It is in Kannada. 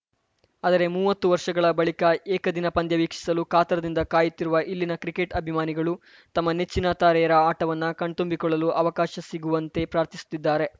ಆದರೆ ಮೂವತ್ತು ವರ್ಷಗಳ ಬಳಿಕ ಏಕದಿನ ಪಂದ್ಯ ವೀಕ್ಷಿಸಲು ಕಾತರದಿಂದ ಕಾಯುತ್ತಿರುವ ಇಲ್ಲಿನ ಕ್ರಿಕೆಟ್‌ ಅಭಿಮಾನಿಗಳು ತಮ್ಮ ನೆಚ್ಚಿನ ತಾರೆಯರ ಆಟವನ್ನ ಕಣ್ತುಂಬಿಕೊಳ್ಳಲು ಅವಕಾಶ ಸಿಗುವಂತೆ ಪ್ರಾರ್ಥಿಸುತ್ತಿದ್ದಾರೆ